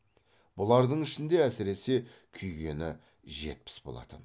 бұлардың ішінде әсіресе күйгені жетпіс болатын